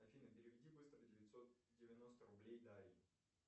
афина переведи быстро девятьсот девяносто рублей дарье